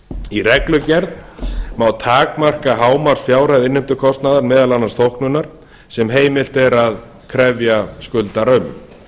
í reglugerð má takmarka hámarksfjárhæð innheimtukostnaðar meðal annars þóknunar sem heimilt er að krefja skuldara um